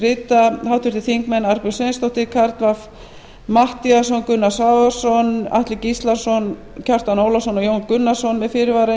rita háttvirtir þingmenn arnbjörg sveinsdóttir karl fimmti matthíasson gunnar svavarsson atli gíslason kjartan ólafsson og jón gunnarsson með fyrirvara